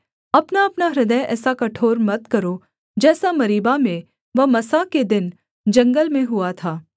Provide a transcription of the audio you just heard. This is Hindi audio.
अपनाअपना हृदय ऐसा कठोर मत करो जैसा मरीबा में व मस्सा के दिन जंगल में हुआ था